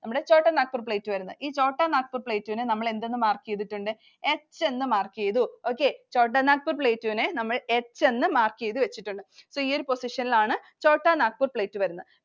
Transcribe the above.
നമ്മുടെ Chotanagpur Plateau വരുന്നത്. ഈ Chotanagpur Plateau നെ നമ്മൾ എന്തെന്ന് mark ചെയ്‌തിട്ടുണ്ട്‌? H ന്നു mark ചെയ്തു. Chotanagpur Plateau നെ നമ്മൾ H ന്നു mark ചെയ്‌തു വെച്ചിട്ടുണ്ട്. So ഈ ഒരു position ലാണ് Chotanagpur Plateau വരുന്നത്.